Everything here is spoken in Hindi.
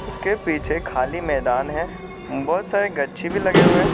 उसके पीछे खाली मैदान है बहुत सारे गच्छी भी लगे हुए है।